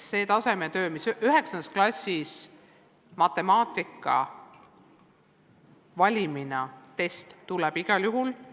See tasemetöö, mis 9. klassis matemaatikas täisvalimina on olnud, tuleb igal juhul.